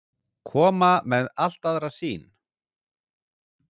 Koma með allt aðra sýn